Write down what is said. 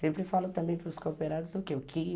Sempre falo também para os cooperados o quê?